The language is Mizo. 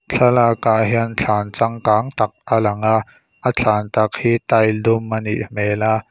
thlalakah hian thlan changkang tak alang a a thlan tak hi tile dum a nih hmel a.